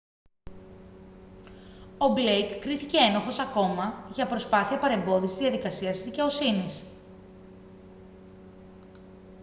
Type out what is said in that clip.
ο μπλέικ κρίθηκε ένοχος ακόμα για προσπάθεια παρεμπόδισης της διαδικασίας της δικαιοσύνης